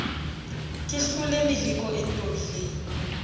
ke hlole meleko e ntobileng